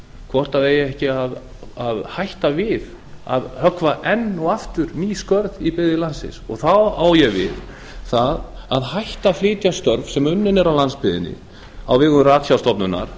hvort það eigi ekki að hætta við að höggva enn og aftur í skörð í byggðir landsins og þá á ég við það að hætta að flytja störf sem unnin eru á landsbyggðinni á vegum ratsjárstofnunar